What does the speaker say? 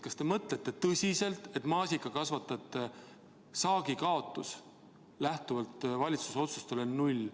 Kas te mõtlete tõsiselt, et maasikakasvatajate saagikaotus lähtuvalt valitsuse otsustele on null?